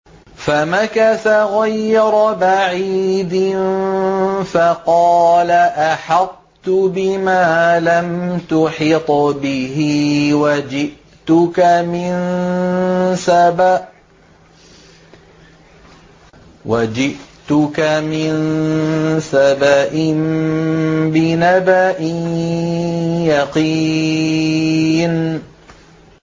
فَمَكَثَ غَيْرَ بَعِيدٍ فَقَالَ أَحَطتُ بِمَا لَمْ تُحِطْ بِهِ وَجِئْتُكَ مِن سَبَإٍ بِنَبَإٍ يَقِينٍ